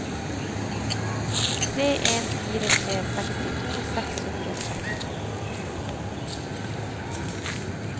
tre en fire tre sekstito seks hundre og trettito